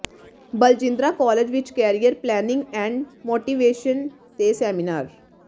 Barjindra college ਵਿੱਚ career planning and motivation ਤੇ seminar